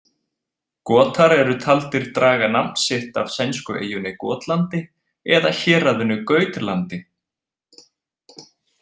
Gotar eru taldir draga nafn sitt af sænsku eyjunni Gotlandi eða héraðinu Gautlandi.